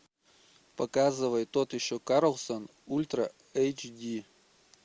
показывай тот еще карлсон ультра эйч ди